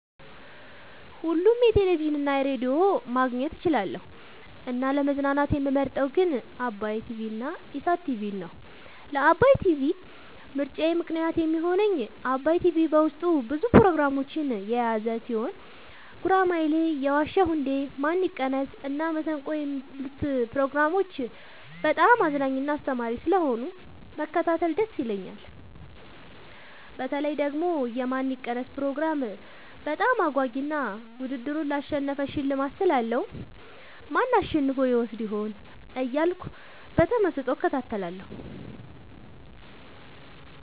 ሁሉንም ቴሌቪዥን እና ሬዲዮ ማግኘት እችላለሁ: : ለመዝናናት የምመርጠዉ ግን ዓባይ ቲቪንና ኢሣት ቲቪን ነዉ። ለዓባይ ቲቪ ምርጫየ ምክንያት የሚሆነኝ ዓባይ ቲቪ በዉስጡ ብዙ ፕሮግራሞችን የያዘ ቲሆን ጉራማይሌ የዋ ዉ እንዴ ማን ይቀነስ እና መሠንቆ የሚሉትን ፕሮግራሞች በጣም አዝናኝና አስተማሪ ስለሆኑ መከታተል ደስ ይለኛል። በተለይ ደግሞ የማን ይቀነስ ፕሮግራም በጣም አጓጊ እና ዉድድሩን ላሸነፈ ሽልማት ስላለዉ ማን አሸንፎ ይወስድ ይሆን እያልኩ በተመስጦ እከታተላለሁ።